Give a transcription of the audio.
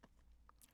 TV 2